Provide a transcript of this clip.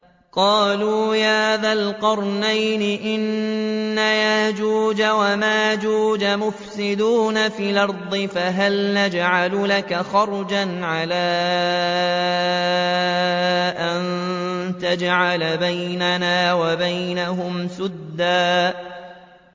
قَالُوا يَا ذَا الْقَرْنَيْنِ إِنَّ يَأْجُوجَ وَمَأْجُوجَ مُفْسِدُونَ فِي الْأَرْضِ فَهَلْ نَجْعَلُ لَكَ خَرْجًا عَلَىٰ أَن تَجْعَلَ بَيْنَنَا وَبَيْنَهُمْ سَدًّا